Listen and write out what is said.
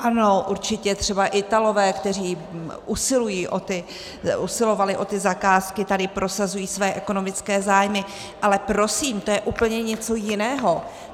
Ano, určitě třeba Italové, kteří usilovali o ty zakázky, tady prosazují své ekonomické zájmy, ale prosím, to je úplně něco jiného.